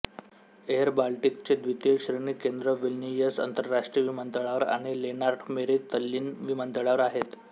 airBaltic चे द्वितीय श्रेणी केंद्र विल्नियस आंतरराष्ट्रीय विमानतळावर आणि लेंनार्ट मेरी तल्लीन्न विमानतळावर आहेत